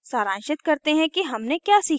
अब सारांशित करते हैं कि हमने क्या सीखा